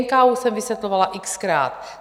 NKÚ jsem vysvětlovala x-krát.